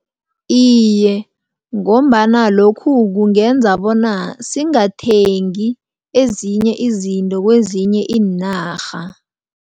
Iye, ngombana lokhu kungenza bona singathengi ezinye izinto kwezinye iinarha.